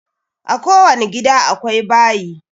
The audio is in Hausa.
A ko wani gida akwai bayi